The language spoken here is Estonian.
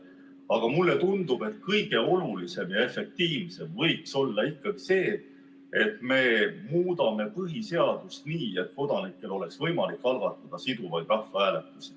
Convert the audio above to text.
Aga mulle tundub, et kõige olulisem ja efektiivsem võiks olla ikkagi see, et me muudame põhiseadust nii, et kodanikel oleks võimalik algatada siduvaid rahvahääletusi.